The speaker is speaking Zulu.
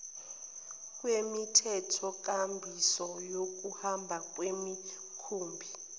kwemithethonkambiso yokuhamba kwemikhumbi